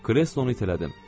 Kreslonu itələdim.